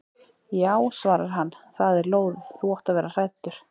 Já svarar hann, það er lóðið, þú átt að vera hræddur.